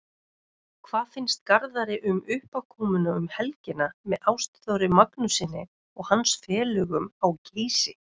Hvað finnst Garðari um uppákomuna um helgina með Ástþóri Magnússyni og hans félögum á Geysi?